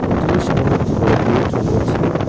হোটেলের সামোনে একটি বড়ো গেট রয়েছে।